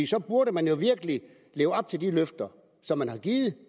så burde man jo virkelig leve op til de løfter som man har givet